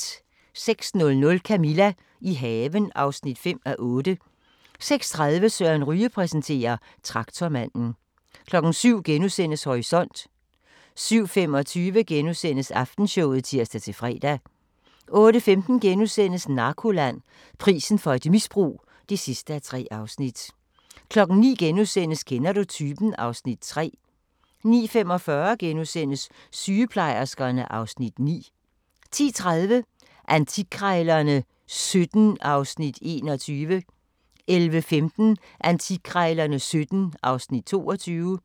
06:00: Camilla – i haven (5:8) 06:30: Søren Ryge præsenterer: Traktormanden 07:00: Horisont * 07:25: Aftenshowet *(tir-fre) 08:15: Narkoland - Prisen for et misbrug (3:3)* 09:00: Kender du typen? (Afs. 3)* 09:45: Sygeplejerskerne (Afs. 9)* 10:30: Antikkrejlerne XVII (Afs. 21) 11:15: Antikkrejlerne XVII (Afs. 22)